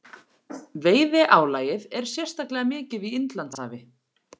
Veiðiálagið er sérstaklega mikið í Indlandshafi.